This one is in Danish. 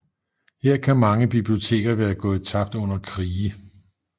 Her kan mange biblioteker være gået tabt under krige